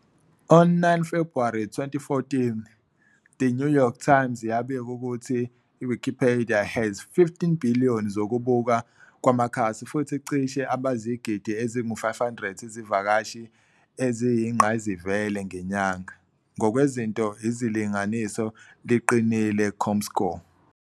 On 9 February 2014, The New York Times yabika ukuthi Wikipedia has 18 billion zokubukwa kwamakhasi futhi cishe abayizigidi ezingu-500 izivakashi eziyingqayizivele ngenyanga, "ngokwezinto izilinganiso liqinile comScore."